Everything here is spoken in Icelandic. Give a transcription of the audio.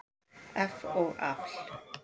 eff og afl.